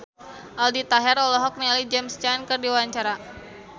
Aldi Taher olohok ningali James Caan keur diwawancara